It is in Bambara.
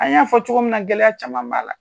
An y'a fɔ cogo min na, gɛlɛya caman b'a la.